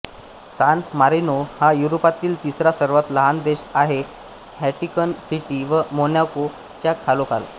San Marino हा युरोपातील तिसरा सर्वात लहान देश आहे व्हॅटिकन सिटी व मोनॅको च्या खालोखाल